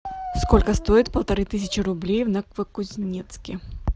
сколько стоит полторы тысячи рублей в новокузнецке